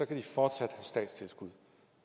kan de fortsat få statstilskud